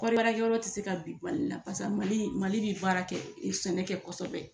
Kɔɔri baarakɛyɔrɔ tɛ se ka bin Mali la pasa Mali Mali bɛ baara kɛ sɛnɛ kɛ kosɛbɛ